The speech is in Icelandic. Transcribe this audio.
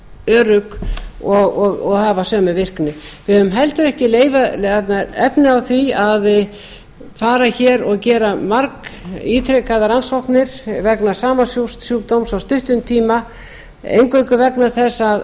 örugg og hafa sömu virkni við höfum heldur ekki efni á því að fara hér og gera margítrekaðar rannsóknir vegna sama sjúkdóms á stuttum tíma eingöngu vegna þess